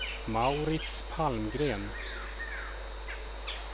Mauritz Palmgren